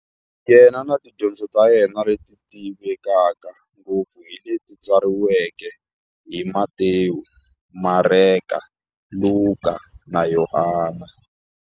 Yena na tidyondzo ta yena, leti tivekaka ngopfu hi leti tsariweke hi-Matewu, Mareka, Luka, na Yohani.